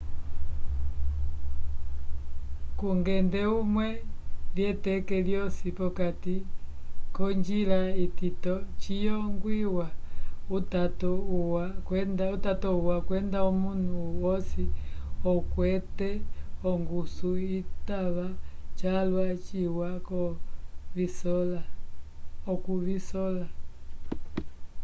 kungende umwe lyeteke lyosi p'okati k'onjila itito ciyongwiwa utato uwa kwenda omunu wosi okwete ongusu citava calwa ciwa okuvisola